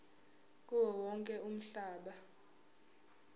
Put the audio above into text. kuwo wonke umhlaba